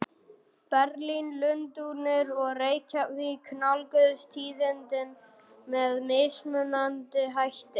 Berlín, Lundúnir og Reykjavík nálguðust tíðindin með mismunandi hætti.